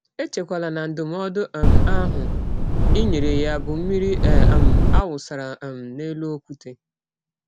Echekwala na ndụmọdụ um ahụ i nyere ya bụ mmiri a um wụsara um n’elụ ọkwụte.